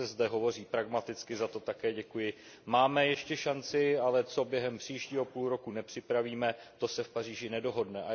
Komise zde hovoří pragmaticky, za to také děkuji. Máme ještě šanci, ale co během příštího půlroku nepřipravíme, to se v Paříži nedohodne.